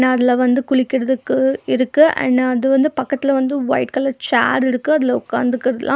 அதுல வந்து குளிக்கறதுக்கு இருக்கு அண்ட் அது வந்து பக்கத்துல வந்து ஒய்ட் கலர் சேர் இருக்கு அதுல ஒக்காந்துக்கிடலாம்.